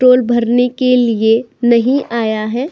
Toll भरने के लिए नही आया है।